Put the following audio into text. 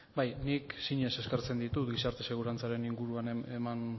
bai nik sinez eskertzen ditut gizarte segurantzaren inguruan eman